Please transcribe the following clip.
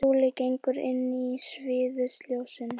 Skúli gengur inn í sviðsljósin.